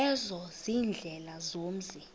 ezo ziindlela zomzi